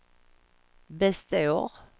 består